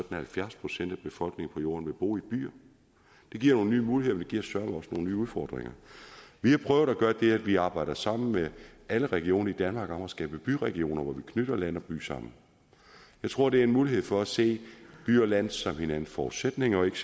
at halvfjerds procent af befolkningen på jorden vil bo i byer det giver nogle nye muligheder men det giver søreme også nogle nye udfordringer vi har prøvet at gøre det at vi arbejder sammen med alle regioner i danmark om at skabe byregioner hvor vi knytter land og by sammen jeg tror det er en mulighed for at se by og land som hinandens forudsætninger og ikke